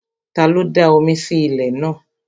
Ta ló da omi sí lẹ̀ ní àná?